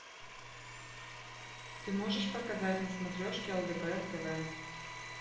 ты можешь показать на смотрешке лдпр тв